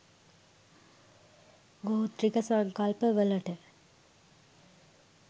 ගෝත්‍රික සංකල්ප වලට